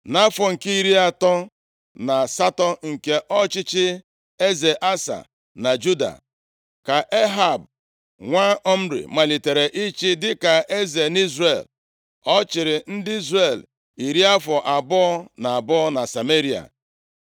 Nʼafọ nke iri atọ na asatọ nke ọchịchị eze Asa na Juda, ka Ehab, nwa Omri, malitere ịchị dịka eze nʼIzrel. Ọ chịrị ndị Izrel iri afọ abụọ na abụọ na Sameria.